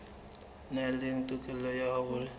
nang le tokelo ya ho